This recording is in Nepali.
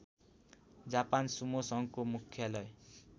जापान सुमो सङ्घको मुख्यालय